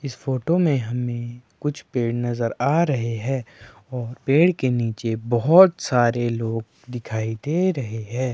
इस फोटो में हमें कुछ पेड़ नजर आ रहे है और पेड़ के नीचे बहुत सारे लोग दिखाई दे रहे है।